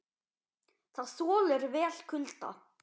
Það þolir vel kulda.